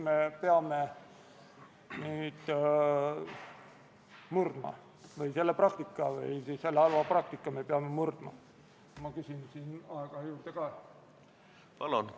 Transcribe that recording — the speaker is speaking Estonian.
Selleks antakse eelnõuga mandaat kuni 46 tegevväelasele, et Afganistan ei muutuks taas rahvusvahelise terrorismi tugialaks.